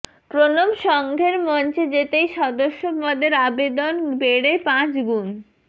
প্রণব সঙ্ঘের মঞ্চে যেতেই সদস্যপদের আবেদন বেড়ে পাঁচ গুণ